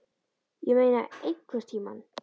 Ég meina EINHVERNTÍMANN?